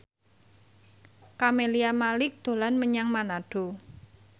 Camelia Malik dolan menyang Manado